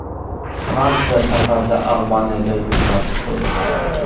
Fransiya safarda Albaniyaga yutqazib qo‘ydi.